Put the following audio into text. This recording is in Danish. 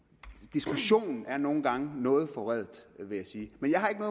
diskussionen er nogle gange noget forvredet vil jeg sige men jeg har ikke